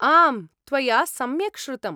आम्, त्वया सम्यक् श्रुतम्।